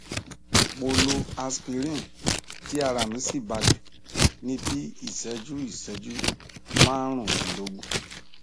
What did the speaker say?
mo lo aspirin tí ara mí sì balẹ ní bí iìṣẹjú iìṣẹjú márùndínlógún